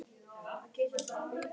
Af hverju ertu alltaf að ljúga Grímur?